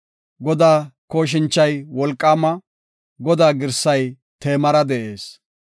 Godaa kooshinchay wolqaama; Godaa girsay teemara de7ees.